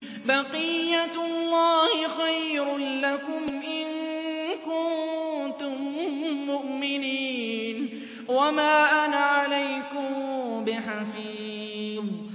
بَقِيَّتُ اللَّهِ خَيْرٌ لَّكُمْ إِن كُنتُم مُّؤْمِنِينَ ۚ وَمَا أَنَا عَلَيْكُم بِحَفِيظٍ